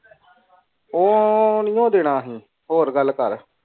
ਉਹ ਨਾਈ ਉਣ ਡਾਇਨਾ ਅਸੀਂ ਹੋਰ ਗੱਲ ਕਰ